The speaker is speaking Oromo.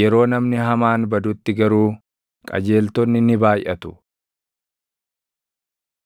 yeroo namni hamaan badutti garuu qajeeltonni ni baayʼatu.